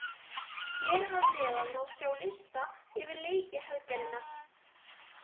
Hér að neðan má sjá lista yfir leiki helgarinnar.